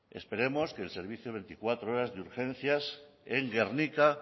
esperemos que el servicio veinticuatro horas de urgencias en gernika